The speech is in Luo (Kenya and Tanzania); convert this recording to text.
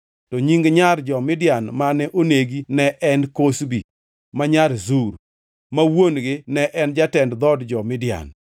To nying nyar jo-Midian mane onegi ne en Kozbi ma nyar Zur, ma wuon-gi ne en jatend dhood jo-Midian.